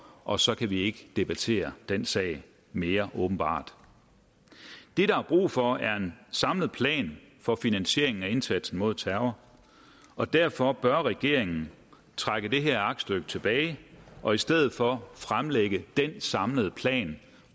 og så kan vi ikke debattere den sag mere åbenbart det der er brug for er en samlet plan for finansieringen af indsatsen mod terror og derfor bør regeringen trække det her aktstykke tilbage og i stedet for fremlægge den samlede plan